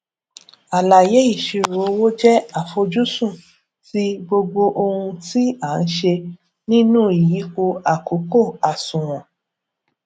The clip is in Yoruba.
àlàyé ìṣirò owó jẹ àfojúsùn ti gbogbo ohun tí a n se nínú ìyípo àkókò àsùnwòn